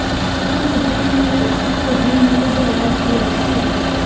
ਇਸ ਮੁੱਦੇ ਨੂੰ ਵੀ ਉਪਭੋਗੀ ਨੂੰ ਲਿਜਾਇਆ ਗਿਆ ਸੀ